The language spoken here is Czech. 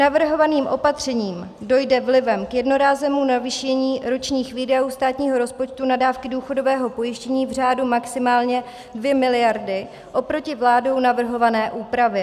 Navrhovaným opatřením dojde vlivem k jednorázovému navýšení ročních výdajů státního rozpočtu na dávky důchodového pojištění v řádu maximálně 2 miliardy oproti vládou navrhované úpravě.